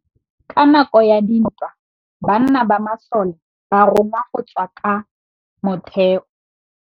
Ka nakô ya dintwa banna ba masole ba rongwa go tswa kwa mothêô.